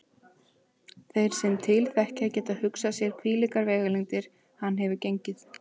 Þeir sem til þekkja geta hugsað sér hvílíkar vegalengdir hann hefur gengið.